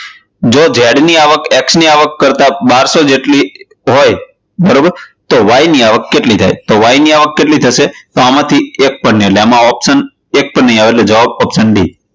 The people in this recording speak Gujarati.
જો Z ની આવક X ની આવક કરતાં બારસો જેટલી હોય બરોબર તો Y ની આવક કેટલી થાય? તો Y ની આવક કેટલી થશે? તો એક પણ નહિ તો option એક પણ નહિ આવે તો જવાબ option d